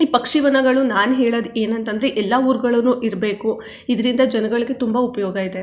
ಈ ಪಕ್ಷಿ ವನಗಳು ನಾನು ಹೇಳೋದು ಏನು ಅಂತ ಅಂದ್ರೆ ಎಲ್ಲಾ ಉರ್ ಗಳಲ್ಲು ಇರಬೇಕು ಇದರಿಂದ ಜನಗಳಿಗೆ ತುಂಬಾ ಉಪಯೋಗವಿದೆ.